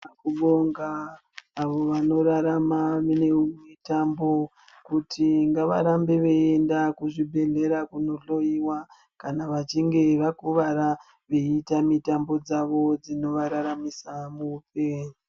Kubonga avo vanorarama nemutambo kuti ngavarambe veienda kuzvibhedhlera kunohloyiwa kana vachinge vakuwara vachiita mitambo dzavo dzinovararamisa muupenyu.